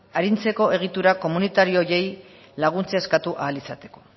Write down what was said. aritzeko egitura komunitario horiei laguntza eskatu ahal izateko